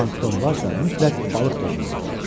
Plankton varsa, mütləq balıq da olmalıdır.